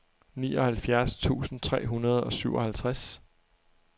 nioghalvfjerds tusind tre hundrede og syvoghalvtreds